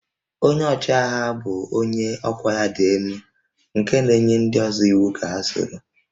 Onye ọchịagha bụ onye ọkwá ya dị elu nke na-enye ndị ọzọ iwu ka ha soro